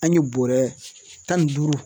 An ye bɔrɛ tan ni duuru